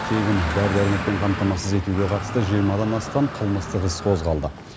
тегін дәрі дәрмекпен қамтамасыз етуге қатысты жиырмадан астам қылмыстық іс қозғалды